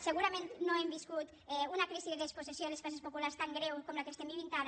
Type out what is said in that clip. segurament no hem viscut una crisi de despossessió de les classes populars tan greu com la que estem vivint ara